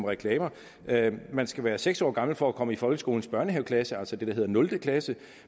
reklamer man skal være seks år gammel for at komme i folkeskolens børnehaveklasse altså det der hedder nul klasse